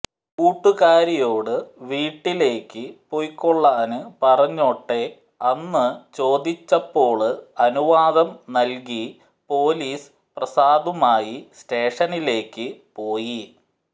കൂട്ടുകാരിയോടു വീട്ടിലേക്കു പൊയ്ക്കാള്ളാന് പറഞ്ഞോട്ടെ അന്നു ചോദിച്ചപ്പോള് അനുവാദം നല്കി പൊലീസ് പ്രസാദുമായി സ്റ്റേഷനിലേക്കു പോയി